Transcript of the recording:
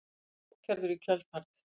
Var hann ákærður í kjölfarið